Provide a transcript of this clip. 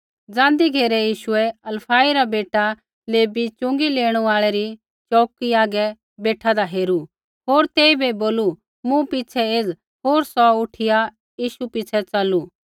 ज़ाँन्दी घेरै यीशुऐ हलफई रा बेटा लेवी च़ुँगी लेणै री च़ोऊकी हागै बेठादा हेरू होर तेइबै बोलू मूँ पिछ़ै एज़ होर सौ उठिया यीशु पिछ़ै च़लू